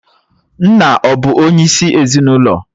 Nna ọ̀ bụ onyeisi ezinụlọ?